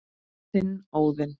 Þinn, Óðinn.